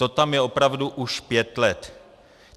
To tam je opravdu už pět let.